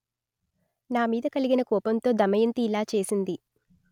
నా మీద కలిగిన కోపంతో దమయంతి ఇలా చేసింది